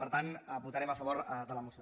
per tant votarem a favor de la moció